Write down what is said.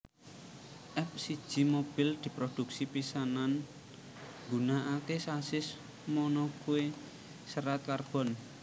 F siji mobil diprodhuksi pisanan nggunakake sasis monocue serat karbon